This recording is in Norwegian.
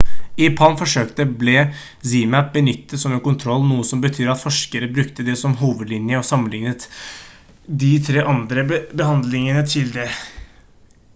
i palm-forsøket ble zmapp benyttet som en kontroll noe som betyr at forskere brukte det som hovedlinje og sammenlignet de tre andre behandlingene til det